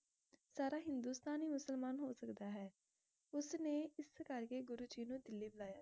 ਸਾਰਾ ਹਿੰਦੁਸਤਾਨ ਹੀਂ ਮੁਸਲਮਾਨ ਹੋ ਸਕਦਾ ਹੈ ਉਸ ਨੇ ਇਸ ਕਰਕੇ ਗੁਰੂ ਜੀ ਨੂੰ ਦਿਲੀ ਬੁਲਾਇਆ